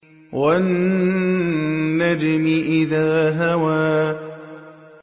وَالنَّجْمِ إِذَا هَوَىٰ